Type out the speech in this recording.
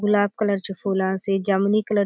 गुलाब colour चो फुल आसे जामुनी कलर --